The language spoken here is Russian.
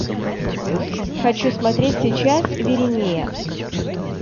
хочу смотреть сейчас виринея